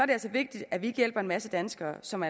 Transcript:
det altså vigtigt at vi ikke hjælper en masse danskere som